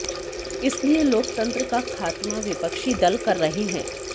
इसलिए लोकतंत्र का खात्मा विपक्षी दल कर रहे हैं